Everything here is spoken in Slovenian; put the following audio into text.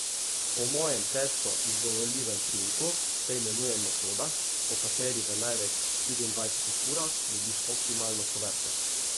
Po mojem težko izgovorljivem priimku se imenuje metoda, po kateri v največ štiriindvajsetih urah dobiš optimalno kuverto.